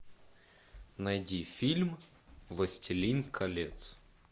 найди фильм властелин колец